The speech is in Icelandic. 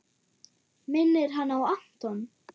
Minnir hana á Anton!